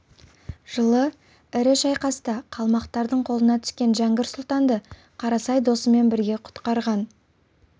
жылы ірі шайқаста қалмақтардың қолына түскен жәңгір сұлтанды қарасай досымен бірге құтқарған